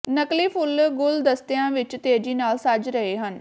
ਨਕਲੀ ਫੁੱਲ ਗੁਲਦਸਤਿਆਂ ਵਿਚ ਤੇਜ਼ੀ ਨਾਲ ਸੱਜ ਰਹੇ ਹਨ